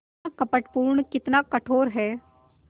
कितना कपटपूर्ण कितना कठोर है